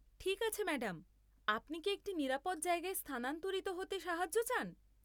ঠিক আছে ম্যাডাম, আপনি কি একটি নিরাপদ জায়গায় স্থানান্তরিত হতে সাহায্য চান?